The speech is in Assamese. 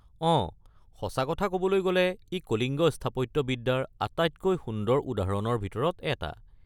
অঁ, সঁচা ক’বলৈ গ’লে ই কলিঙ্গ স্থাপত্যবিদ্যাৰ আটাইতকৈ সুন্দৰ উদাহৰণৰ ভিতৰত এটা।